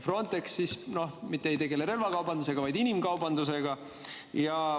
Frontex ei tegele mitte relvakaubandusega, vaid inimkaubandusega.